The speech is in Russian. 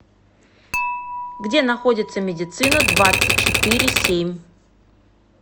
где находится медицина двадцать четыре семь